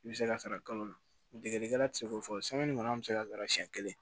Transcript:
I bɛ se ka sara kalo la degelikɛla tɛ se k'o fɔ an bɛ se ka siyɛn kelen